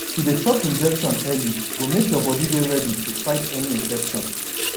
to dey chop injection early go make your body dey ready to fight any infection